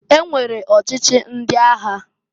E nwere ọchịchị ndị agha.